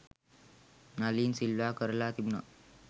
නලින් සිල්වා කරලා තිබුණා